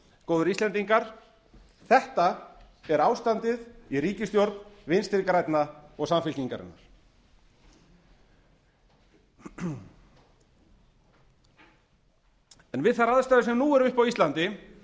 góðir íslendingar þetta er ástandið í ríkisstjórn vinstri grænna og samfylkingarinnar við þær aðstæður sem nú eru uppi á íslandi